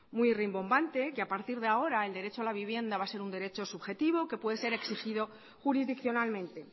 muy rimbombante que a partir de ahora el derecho a la vivienda va a ser un derecho subjetivo que puede ser exigido jurisdiccionalmente